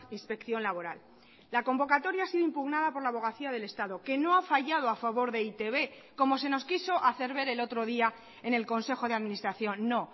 inspección laboral la convocatoria ha sido impugnada por la abogacía del estado que no ha fallado a favor de e i te be como se nos quiso hacer ver el otro día en el consejo de administración no